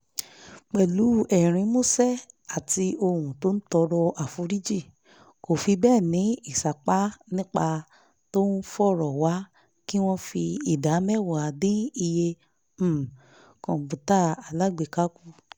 pẹ̀lú ẹ̀rín músẹ́ àti ohùn tó ń tọrọ àforíjì kò fi bẹ́ẹ̀ ní ìsapá nígbà tó ń fọ̀rọ̀ wá kí wọ́n fi ìdá mẹ́wàá dín iye um kọǹpútà alágbèéká kù